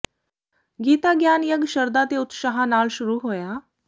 ਗੀਤਾ ਗਿਆਨ ਯੱਗ ਸ਼ਰਧਾ ਤੇ ਉਤਸ਼ਾਹ ਨਾਲ ਸ਼ੁਰੂ ਹੋਇਆ